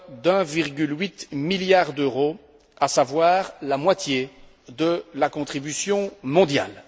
de 1,8 milliard d'euros, à savoir la moitié de la contribution mondiale.